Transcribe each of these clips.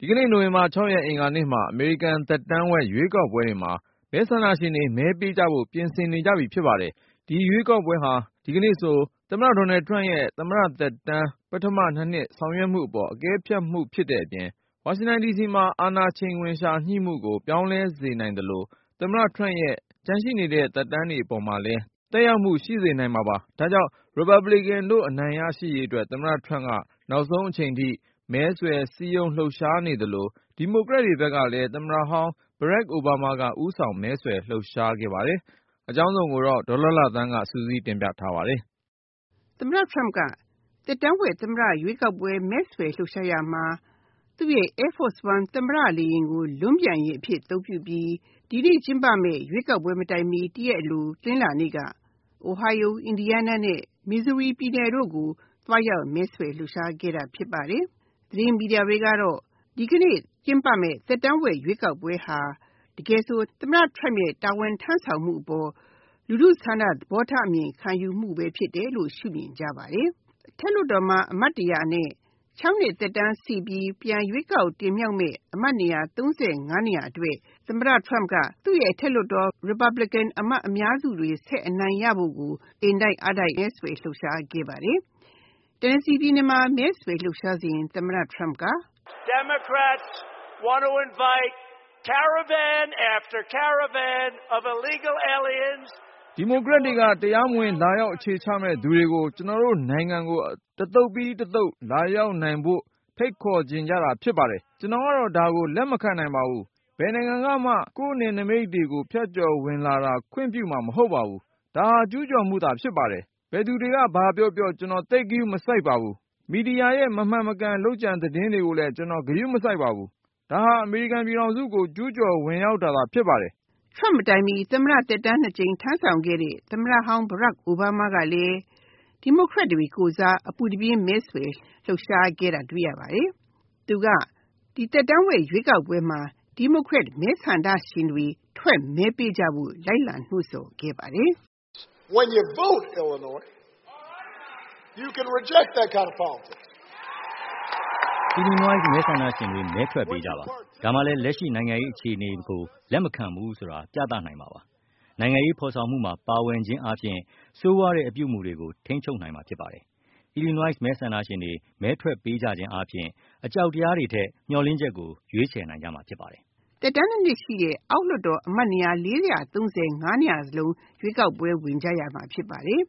ဒီကနေ့ နိုဝင်ဘာ ၆ ရက် အင်္ဂါနေ့မှာ အမေရိကန် သက်တမ်းဝက် ရွေးကောက်ပွဲတွေမှာ မဲဆန္ဒရှင်တွေ မဲပေးကြဖို့ ပြင်ဆင်နေကြပြီ ဖြစ်ပါတယ်။ ဒီရွေးကောက်ပွဲဟာ ဒီကနေ့ဆို သမ္မတ ဒေါ်နယ်ထရမ့်ရဲ့ သမ္မတသက်တမ်း ပထမ ၂နှစ်ဆောင်ရွက်မှုအပေါ် အကဲဖြတ်မှုလည်း ဖြစ်တဲ့အပြင်၊ ဝါရှင်တန်မှာ အာဏာချိန်ခွင်လျှာ ညှိမှုကို ပြောင်းလဲစေနိုင်သလို သမ္မတ ထရမ့်ရဲ့ ကျန်ရှိတဲ့ သက်တမ်းအပေါ်မှာလည်း သက်ရောက်မှု ရှိစေနိုင်ပါတယ်။ ဒါကြောင့် ရီပတ်ဘလစ်ကန်တို့ အနိုင်ရရှိရေး သမ္မတထရမ့်က နောက်ဆုံးအချိန်ထိ မဲဆွယ်လှုပ်ရှားနေသလို ဒီမိုကရက်တွေဘက်ကလည်း သမ္မတဟောင်း အိုဘားမားက ဦးဆောင်မဲဆွယ်လှုပ်ရှားခဲ့ပါတယ်။ အကြောင်းစုံကို ဒေါ်လှလှသန်းက စုစည်းတင်ဆက် ထားပါတယ်။ သမ္မတ Turmp က သက်တမ်းဝက် သမ္မတ ရွေးကောက်ပွဲမဲဆွယ်လှုပ်ရှားရာမှာ သူ့ Air Force One သမ္မတလေယာဉ်ကို လွန်းပျံယာဉ်အဖြစ် အသုံးပြုပြီး ဒီကနေ့ကျင်းပမယ့် ရွေးကောက်ပွဲမတိုင်မီ ၁ ရက်အလို တနင်္လာနေ့က Ohio, Indiana, Missouri ပြည်နယ်တို့ကို သွားရောက်မဲဆွယ်လှုပ်ရှားခဲ့ပါတယ်။ သတင်းမီဒီယာတွေကတော့ ဒီကနေ့ကျင်းပမယ့် သက်တမ်းဝက် ရွေးကောက်ပွဲဟာ တကယ်ဆို သမ္မတ Trump ရဲ့ တာဝန်ထမ်းဆောင်မှုအပေါ် လူထုဆန္ဒသဘောထားအမြင်ခံယူမှုဖြစ်တယ်လို့ ရှု့မြင်ကြပါတယ်။ အထက်လွှတ်တော်မှာ အမတ်၁၀၀ နဲ့ ၆ နှစ်သက်တမ်းရှိပြီး ပြန်ရွေးကောက်တင်မြောက်မယ့် အမတ် ၃၅ နေရာအတွက် သမ္မတ Turmp ကသူ့ Republican အမတ်အများစုတွေဆက်ပြီးအနိုင်ရဖို့ကို အင်တိုက်အားတိုက်မဲဆွယ်လှုပ်ရှားခဲ့ပါတယ်။ Tennessee ပြည်နယ်မှာ မဲဆွယ်လှုပ်ရှားစဉ် သမ္မတ Turmp က “ဒီမိုကရက်တွေက တရားမဝင်လာရောက်အခြေချမယ့်သူတွေကို ကျနော်တို့နိုင်ငံကို တသုတ်ပြီး တသုတ်လာရောက်နိုင်ဖို့ ဖိတ်ခေါ်ချင်တာဖြစ်ပါတယ်။ ကျနော်ကတော့ ဒါကို လက်မခံပါဘူး ဘယ်နိုင်ငံကမှ ကိုယ့်နယ်နိမိတ်တွေကို ဖြတ်ကျော်ဝင်လာတာကို ခွင့်ပြုမှာမဟုတ်ဘူး ဒါက ကျူးကျော်မှုပဲဖြစ်တယ်။ ဘယ်သူတွေက ဘာပြောပြော ကျနော်သိပ်ဂရုမစိုက်ဘူး မီဒီယာတွေရဲ့ မမှန်မကန် လုပ်ကြံသတင်းတွေကိုလည်း ကျနော် ဂရုမစိုက်ဘူး ဒါက အမေရိကန်ပြည်ထောင်စုကို ကျူးကျော်ဝင်ရောက်မှုပဲဖြစ်တယ်။” Trump မတိုင်မီ သမ္မတ သက်တမ်း ၂ ကြိမ်ထမ်းဆောင်ခဲ့တဲ့ သမ္မတဟောင်း Obama ကလည်း ဒီမိုကရက်တွေကိုယ်စား အပူတပြင်းမဲဆွယ် လှုပ်ရှားခဲ့တာတွေ့ရပါတယ်။ သူက ဒီသက်တမ်းဝက် ရွေးကောက်ပွဲမှာ ဒီမိုကရက်မဲဆန္ဒရှင်တွေ ထွက်မဲပေးကြဖို့ လိုက်လံ နှိုးဆော်ခဲ့ပါတယ်။ “Illinois မဲဆန္ဒရှင်တွေ မဲထွက်ပေးကြပါ။ ဒါမှလည်း လက်ရှိနိုင်ငံရေးအခြေအနေကို လက်မခံဘူးဆိုတာ ပြသနိုင်မှာပါ။ နိုင်ငံရေးဖော်ဆောင်မှုမှာ ပါဝင်ခြင်းအားဖြင့် ဆိုးရွားတဲ့အပြုအမှုတွေကို ထိန်းချုပ်နိုင်မှာဖြစ်ပါတယ်။ Illinois မဲဆန္ဒရှင်တွေ မဲထွက်ပေးကြခြင်းဖြင့် အကြောက်တရားတွေထက် မျှော်လင့်ချက်တွေကို ရွေးချယ်နိုင်ကြမှာပါ။” သက်တမ်း ၂ နှစ်ရှိတဲ့ အောက်လွှတ်တော်အမတ်နေရာ ၄၃၅ နေရာစလုံး ရွေးကောက်ပွဲ ဝင်ကြရမှာဖြစ်ပါတယ်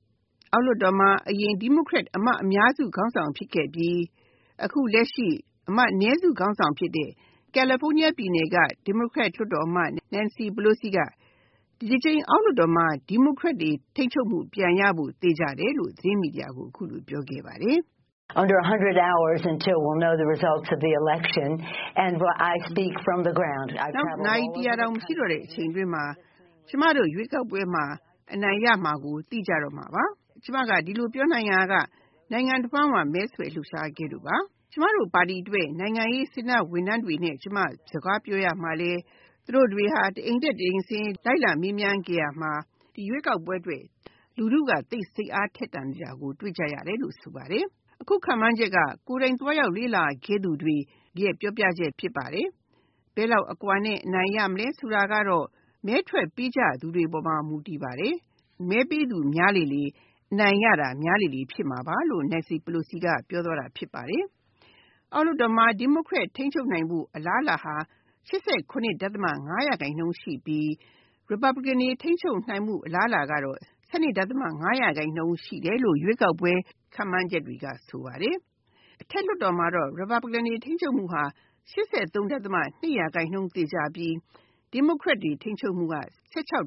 ။ အောက်လွှတ်တော်မှာ အရင်ဒီမိုကရက်အမတ်အများစု ခေါင်းဆောင်ဖြစ်ခဲ့ပြီး အခုလက်ရှိ အမတ်အနည်းစုခေါင်းဆောင်ဖြစ်တဲ့ Nancy Pelosi က ဒီတကြိမ် ဒီမိုကရက်တွေထိန်းချုပ်မှု ပြန်ရဖို့ သေချာတယ်လို့ သတင်းမီဒီယာကို အခုလိုပြောခဲ့ပါတယ်။ “နောက် နာရီ ၁၀၀ တောင်မရှိတော့တဲ့အချိန်အတွင်းမှာ ကျမတို့ရွေးကောက်ပွဲမှာ အနိုင်ရမှာကို သိကြတော့မှာပါ။ ကျမဒီလိုပြောနိုင်တာက နိုင်ငံတဝှမ်းမှာ မဲဆွယ်လှုပ်ရှားခဲ့လို့ပါ။ ကျမတို့ပါတီအတွက် နိုင်ငံရေး စေတနာ့ဝန်ထမ်းတွေနဲ့ ကျမ စကားပြောရာမှာလည်း သူတို့တွေက တအိမ်တက် တအိမ်ဆင်း လိုက်မေးမြန်းခဲ့ပြီး ဒီရွေးကောက်ပွဲအတွက် လူထုကို စိတ်အားထက်သန်တာကိုတွေ့ရတယ်လို့ ဆိုပါတယ်။ အခုခန့်မှန်းတာက ကိုယ်တိုင်သွားရောက်လေ့လာခဲ့သူတွေ ရဲ့ပြောပြချက်ဖြစ်ပါတယ်။ ဘယ်လောက်အကွာနဲ့ အနိုင်ရမလဲဆိုတာကတော့ မဲထွက်ပေးကြသူတွေအပေါ်မှာ မူတည်ပါတယ်။ မဲပေးသူများလေလေ အနိုင်ရတာများမှာပါ။” အောက်လွှတ်တော်မှာ ဒီမိုကရက်ထိန်းချုပ်နိုင်ဖို့ အလားအလာဟာ ၈၇.၅ ရာခိုင်နှုန်းရှိပြီး ရီပတ်ပလီကန်တွေ ထိန်းချုပ်နိုင်ဖို့ အလားအလာဟာ ၁၂.၅ ရာခိုင်နှုန်းရှိတယ်လို့ ရွေးကောက်ပွဲ ခန့်မှန်းချက်တွေက ဆိုပါတယ်။ အထက်လွှတ်တော်မှာ ရီပတ်ပလီကန်တွေ ထိန်းချုပ်မှုဟာ ၈၃.၂ ရာခိုင်နှုန်းသေချာပြီး ဒီမိုကရက်ထိန်းချုပ်နိုင်ဖို့ အလား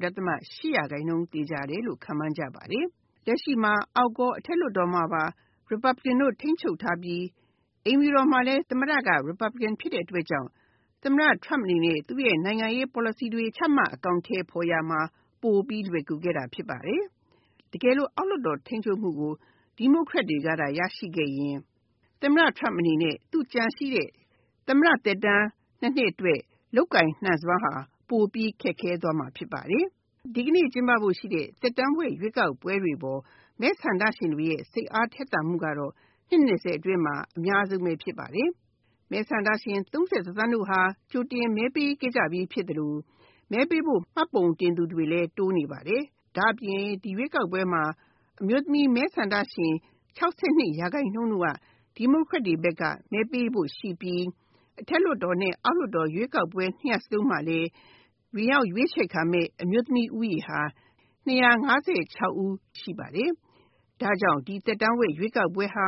အလာဟာ ၁၆.၈ ရာခိုင်နှုန်းသေချာတယ်လို့ ခန့်မှန်းကြပါတယ်။ လက်ရှိမှာ အောက်ရော အထက်လွှတ်တော်မှာပါ ရီပတ်ပလီကန်တွေ ထိန်းချုပ်ထားပြီး အိမ်ဖြူတော်မှာလည်း သမ္မတက ရီပတ်ပလီကန်ဖြစ်တဲ့အတွက်ကြောင့် သမ္မတ Trump အနေနဲ့ သူ့နိုင်ငံရေး ပေါ်လစီတွေ ချမှတ်အကောင်အထည်ဖော်ရာမှာ ပိုလွယ်ကူခဲ့တာဖြစ်ပါတယ်။ အောက်လွှတ်တော်မှာ ထိန်းချုပ်နိုင်ဖို့ဒီမိုကရက်တွေက ရရှိခဲ့ရင် သမ္မတ Trump အနေနဲ့ ကျန်ရှိတဲ့ သမ္မတ သက်တမ်း ၂ နှစ်အတွက် လုပ်ကိုင်နိုင်စွမ်းဟာ ပိုပြီးခက်ခဲမှာဖြစ်ပါတယ်။ ဒီကနေ့ကျင်းပမယ့် ရွေးကောက်ပွဲတွေအပေါ် မဲဆန္ဒရှင်တွေရဲ့ စိတ်အားထက်သန်မှုကတော့ နှစ် ၂၀ အတွင်းမှာ အများဆုံးဖြစ်ပါတယ်။ မဲဆန္ဒရှင် ၃၁ သန်းဟာ ကြိုတင်မဲပေးခဲ့ကြပြီဖြစ်သလို မဲပေးဖို့ မှတ်ပုံတင်သူတွေလည်း တိုးနေပါတယ်။ ဒါ့အပြင် ဒီရွေးကောက်ပွဲမှာ အမျိုးသမီး မဲဆန္ဒရှင် ၆၂ ရာခိုင်နှုန်းက ဒီမိုကရက်တွေကို မဲပေးဖို့ရှိပြီး အထက်လွှတ်တော် အောက်လွှတ်တော် ၂ ရပ်စလုံးမှာလည်း ဝင်ရောက်ရွေးချယ်ခံမယ့် အမျိုးသမီး ဦးရေဟာ ၂၅၆ ဦးရှိပါတယ်။ ဒါကြောင့် ဒီသက်တမ်းဝက် ရွေးကောက်ပွဲဟာ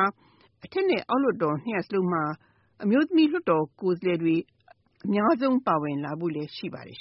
အထက်လွှတ်တော် အောက်လွှတ်တော် ၂ ရပ်စလုံးမှာ အမျိုးသမီးလွှတ်တော်ကိုယ်စားလှယ်တွေ အများဆုံးပါဝင်လာဖို့ရှိပါတယ်